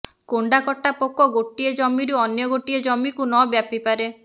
କେଣ୍ଡାକଟା ପୋକ ଗୋଟିଏ ଜମିରୁ ଅନ୍ୟ ଗୋଟିଏ ଜମିକୁ ନ ବ୍ୟାପିପାରେ